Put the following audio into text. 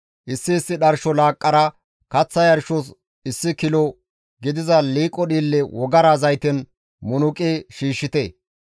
Issi issi dharsho laaqqara kaththa yarshos issi kilo gidiza liiqo dhiille wogara zayten munuqi shiishshite.